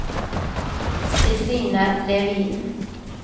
Kristina Levin